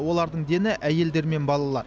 олардың дені әйелдер мен балалар